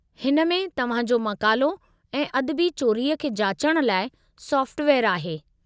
हिन में तव्हां जो मक़ालो ऐं अदबी चोरीअ खे जाचणु लाइ सोफ़्टवेयरु आहे।